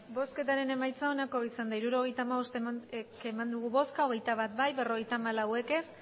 hirurogeita hamabost eman dugu bozka hogeita bat bai berrogeita hamalau ez